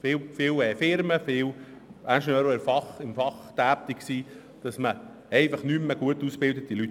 Viele praktisch tätige Ingenieure und Unternehmer sagen, man erhalte nicht mehr so gut ausgebildete Leute.